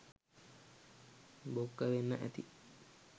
බොක්ක වෙන්න ඇති